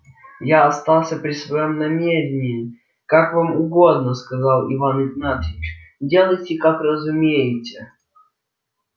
я остался при своём намерении как вам угодно сказал иван игнатьич делайте как разумеете